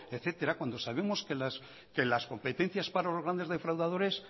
etcétera cuando sabemos que las competencias para los grandes defraudadores